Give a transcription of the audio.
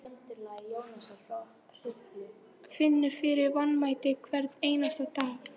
Finnur fyrir vanmætti hvern einasta dag.